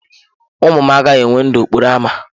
Ụmụ m agaghị enwe ndụ n'okporo ámá.